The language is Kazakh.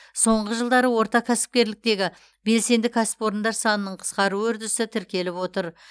соңғы жылдары орта кәсіпкерліктегі белсенді кәсіпорындар санының қысқаруы үрдісі тіркеліп отыр